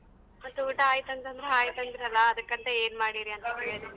ಮತ್ತೆ ಊಟ ಆಯ್ತ ಅಂದ್ರೆ ಆಯ್ತ್ ಅಂದ್ರಲ್ಲಾ ಅದಕ್ಕಂತ ಏನ್ ಮಾಡೀರಿ ಅಂತ ಕೇಳ್ದೆ.